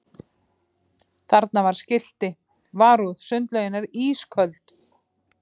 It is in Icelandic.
Þarna var skilti: Varúð sundlaugin er ísköld